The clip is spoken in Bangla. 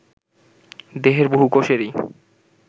দেহের বহু কোষেরই